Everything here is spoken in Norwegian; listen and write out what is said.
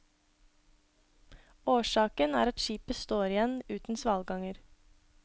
Årsaken er at skipet står igjen uten svalganger.